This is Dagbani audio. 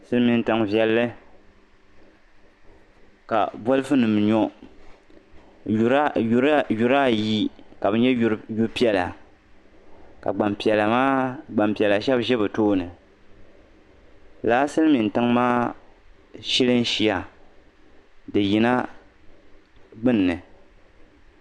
Silimiin tiŋ viɛlli ka bɔlifunima nyɔ yura ayi ka bɛ nyɛ yu piɛlla ka gbampiɛla shɛb ʒi bɛ tooni lala silimin tiŋ maa shilishia di yina gbunni